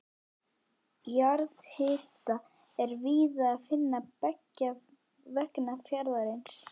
Jarðhita er víða að finna beggja vegna fjarðarins.